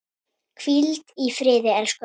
Hvíld í friði, elsku afi.